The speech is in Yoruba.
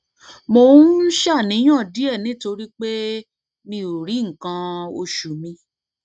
mo ń ṣàníyàn díẹ nítorí pé mi ò rí nǹkan oṣù mi